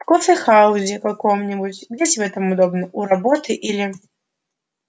в кофехаузе каком-нибудь где тебе там удобно у работы или